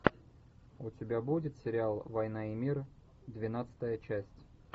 у тебя будет сериал война и мир двенадцатая часть